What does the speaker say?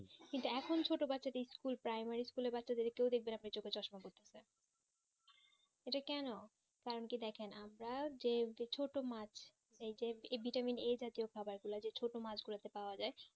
কিন্তু এখন সেটা বাচ্চা দেড় school primary school বাচ্চা দেড় কেও দেখবেন আপনি চোখে চশমা পরে থাকতে এটা কেন কারণ কেও দেখে না আমরা যেহেতু ছোট মাচ vitamin a থাকে খাবার গিলা যে ছোট মাচ গীলা পাওয়া যাই